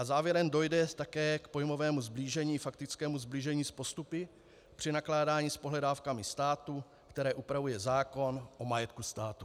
A závěrem, dojde také k pojmovému sblížení, faktickému sblížení s postupy při nakládání s pohledávkami státu, které upravuje zákon o majetku státu.